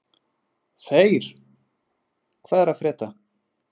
Þeyr, hvað er að frétta?